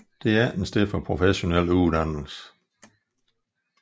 Det er ikke et sted for professionel uddannelse